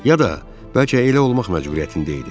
Ya da bəlkə elə olmaq məcburiyyətində idi.